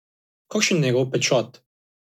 Kakšen je njegov pečat?